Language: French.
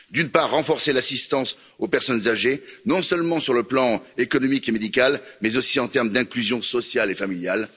D'une part, renforcer l'assistance aux personnes âgées, non seulement sur le plan économique et médical, mais aussi en matière d'inclusion sociale et familiale.